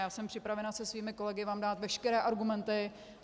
Já jsem připravena se svými kolegy vám dát veškeré argumenty.